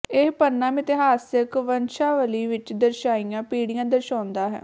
ਇਹ ਪੰਨਾ ਮਿਥਿਹਾਸਿਕ ਵੰਸ਼ਾਵਲੀ ਵਿੱਚ ਦਰਸਾਈਆਂ ਪੀੜੀਆਂ ਦਰਸਾਉਂਦਾ ਹੈ